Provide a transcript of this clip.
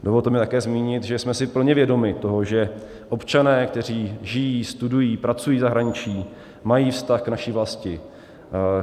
Dovolte mi také zmínit, že jsme si plně vědomi toho, že občané, kteří žijí, studují, pracují v zahraničí, mají vztah k naší vlasti.